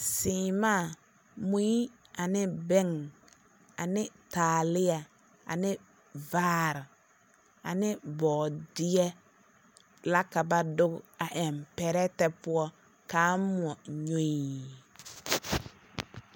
Seemaa, mui ane bɛŋ ane taalea ane vaare ane bɔɔbeɛ la ka ba doge a eŋ pɛrɛtɛ poɔ ka a moɔ nyoii.